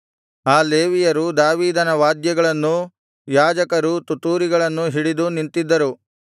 ಆ ಲೇವಿಯರು ದಾವೀದನ ವಾದ್ಯಗಳನ್ನೂ ಯಾಜಕರೂ ತುತ್ತೂರಿಗಳನ್ನೂ ಹಿಡಿದು ನಿಂತಿದ್ದರು